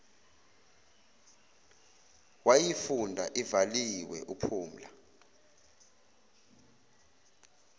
wayifunda ivaliwe uphumla